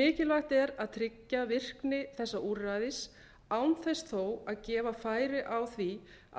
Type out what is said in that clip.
mikilvægt er að tryggja virkni þessa úrræðis án þess þó að gefa færi á því